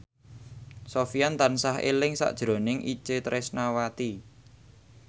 Sofyan tansah eling sakjroning Itje Tresnawati